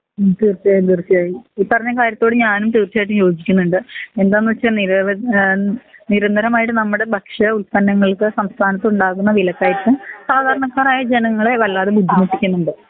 ഉം തീർച്ചായും തീർച്ചായും ഈ പറഞ്ഞ കാര്യത്തോട് ഞാനും തീർച്ചായിട്ടും യോജിക്കുന്ന്ണ്ട് എന്താന്ന് വെച്ച നിരവ ഏഹ് നിരന്തരമായിട്ട് നമ്മടെ ഭക്ഷ്യ ഉൽപനങ്ങൾക്ക് സംസ്ഥാനത്ത് ഉണ്ടാവുന്ന വില കയറ്റം സാധാരണക്കാരായ ജനങ്ങളെ വല്ലാതെ ബുദ്ധിമുട്ടിക്കുന്നുണ്ട്